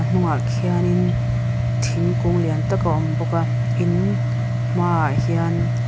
hnungah khianin tingkung lian tak a awm bawk a in hmaah hian--